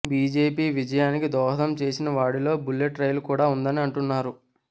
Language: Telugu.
బీజేపీ విజయానికి దోహదం చేసిన వాడిలో బుల్లెట్ రైలు కూడా ఉందని అంటున్నారు